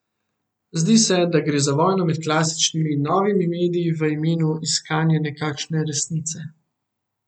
Zdi se, da gre za vojno med klasičnimi in novimi mediji v imenu iskanje nekakšne resnice.